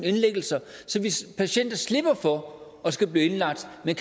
indlæggelser så patienter slipper for at skulle blive indlagt men